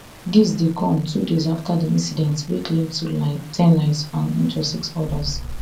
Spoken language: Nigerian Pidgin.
dis dey come two days afta di incident wey claim ten lives and injure six odas